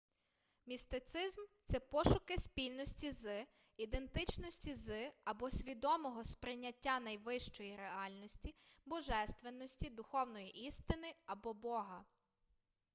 містицизм це пошуки спільності з ідентичності з або свідомого сприйняття найвищої реальності божественності духовної істини або бога